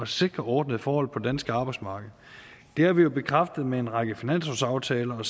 sikre ordnede forhold på det danske arbejdsmarked det har vi jo bekræftet med en række finanslovsaftaler og